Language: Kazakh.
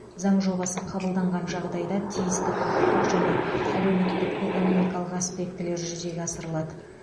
заң жобасы қабылданған жағдайда тиісті құқықтық және әлеуметтік экономикалық аспектілер жүзеге асырылады